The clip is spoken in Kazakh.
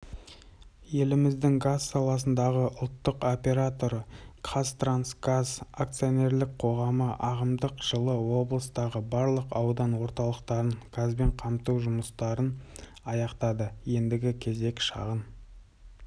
еліміздің газ саласындағы ұлттық операторы қазтрансгаз акционерлік қоғамы ағымдағы жылы облыстағы барлық аудан орталықтарын газбен қамту жұмыстарын аяқтады ендігі кезек шағын